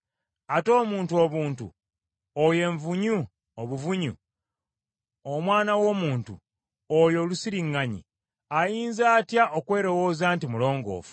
Ate omuntu obuntu oyo envunyu obuvunyu, omwana w’omuntu, oyo olusiriŋŋanyi, ayinza atya okwelowooza nti mulongoofu!”